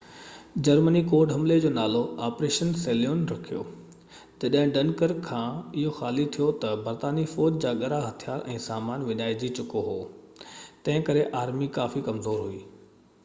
Germany code حملي جو نالو آپريشن سيليون” رکيو. جڏهن ڊنڪرڪ کان اهو خالي ٿيو ته، برطانوي فوج جا ڳرا هٿيار ۽ سامان وڃائجي چڪو هو، تنهن ڪري آرمي ڪافي ڪمزور هئي